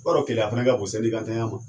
Keleya fana ka bon ntanya ma ?